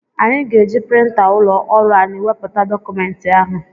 Anyị ga-eji printa ụlọ ọrụ anyị wepụta dọkụmenti ahụ.